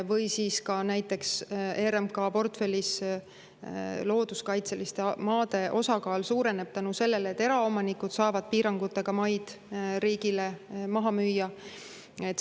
Või näiteks see, et RMK portfellis looduskaitseliste maade osakaal suureneb tänu sellele, et eraomanikud saavad piirangutega maid riigile maha müüa.